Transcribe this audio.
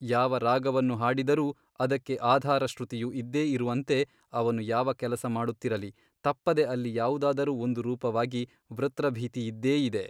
ಯಾವ ರಾಗವನ್ನು ಹಾಡಿದರೂ ಅದಕ್ಕೆ ಆಧಾರಶ್ರುತಿಯು ಇದ್ದೇ ಇರುವಂತೆ ಅವನು ಯಾವ ಕೆಲಸಮಾಡುತ್ತಿರಲಿ ತಪ್ಪದೆ ಅಲ್ಲಿ ಯಾವುದಾದರೂ ಒಂದು ರೂಪವಾಗಿ ವೃತ್ರಭೀತಿಯಿದ್ದೇ ಇದೆ.